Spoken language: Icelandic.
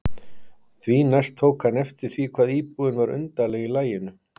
Því næst tók hann eftir því hvað íbúðin var undarleg í laginu.